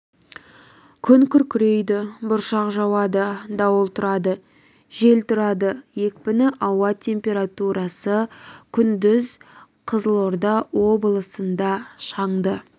күн күркірейді бұршақ жауады дауыл тұрады жел тұрады екпіні ауа температурасы күндіз қызылорда облысында шаңды